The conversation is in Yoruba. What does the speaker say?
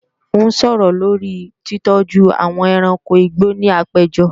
N ó sọ̀rọ̀ lórí titọ́jú àwọn ẹranko igbó ní àpéjọ